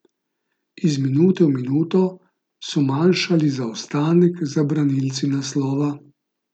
Iz minute v minuto so manjšali zaostanek za branilci naslova.